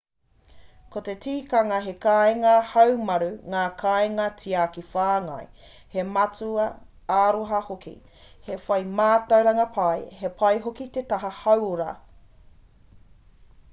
ko te tikanga he kāinga haumaru ngā kainga tiaki whāngai he mātua āroha hoki he whai mātauranga pai he pai hoki te taha hauora